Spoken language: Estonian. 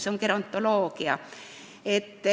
See on gerontoloogia.